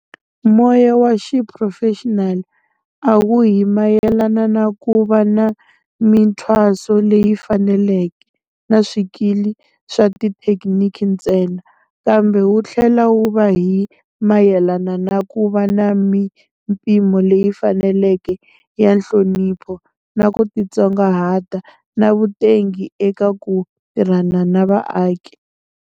Moya wa xiphurofexinali a wu hi mayelana na ku va na mithwaso leyi faneleke na swikili swa tithekiniki ntsena, kambe wu tlhela wu va hi mayelana na ku va na mipimo leyi faneleke ya nhlonipho, na ku titsongahata na vutengi eka ku tirhana na vaaki.